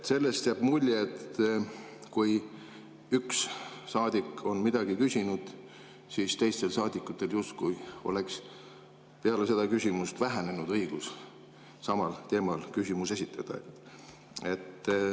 Sellest jääb mulje, et kui üks saadik on midagi küsinud, siis teistel saadikutel justkui oleks peale seda küsimust vähem õigust samal teemal küsimusi esitada.